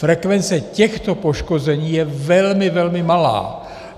Frekvence těchto poškození je velmi, velmi malá.